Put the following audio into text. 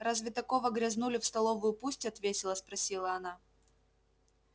разве такого грязнулю в столовую пустят весело спросила она